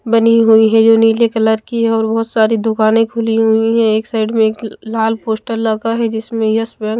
बनी हुई है जो नीले कलर की है और बहुत सारी दुकानें खुली हुई हैं एक साइड में एक लाल पोस्टर लगा है जिसमें यह--